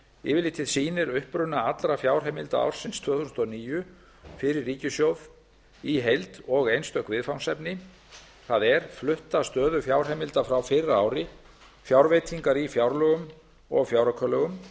yfirlitið sýnir uppruna allra fjárheimilda ársins tvö þúsund og níu fyrir ríkissjóð í heild og einstök viðfangsefni það er flutta stöðu fjárheimilda frá fyrra ári fjárveitingar í fjárlögum og fjáraukalögum